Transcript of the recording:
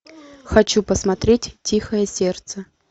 хочу посмотреть тихое сердце